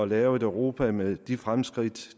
lave et europa med de fremskridt